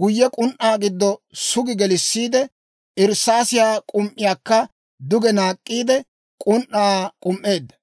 guyye k'un"aa giddo sugi gelissiide, irssaasiyaa k'um"iyaakka duge naak'k'iide, k'un"aa k'um"eedda.